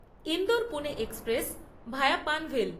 Indore Pune express via Panvel